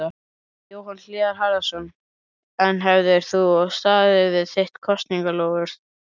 Jóhann Hlíðar Harðarson: En hefðir þú staðið við þitt kosningaloforð?